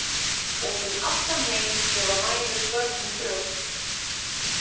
Út um allan heim gefa mæður börnum brjóst.